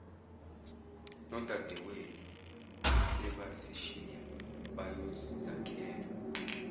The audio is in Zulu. nodadawenu sebasishiya bayozakhela